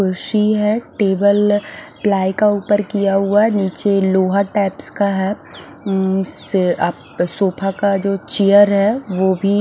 कुसी है table ply का ऊपर किया हुआ है नीचे लोहा टाइप्स का है उम्म स्थ अप सोफा का जो चेयर है वो भी--